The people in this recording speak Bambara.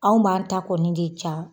Anw b'an ta kɔni de ca